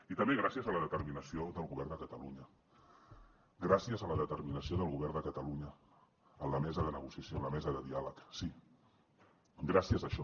i també gràcies a la determinació del govern de catalunya gràcies a la determinació del govern de catalunya en la mesa de negociació en la mesa de diàleg sí gràcies a això